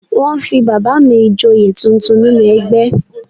Wọ́n fi bàbà mi Ìjòyè tuntun nínú ẹgbẹ́